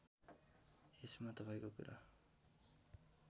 यसमा तपाईँको कुरा